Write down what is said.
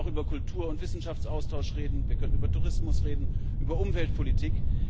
wir könnten auch über Kultur und Wissenschaftsaustausch reden, wir können über Tourismus reden, über Umweltpolitik.